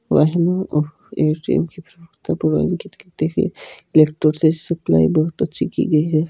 Supply बहुत अच्छी की गई है।